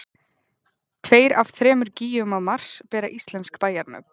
tveir af þremur gígum á mars sem bera íslensk bæjarnöfn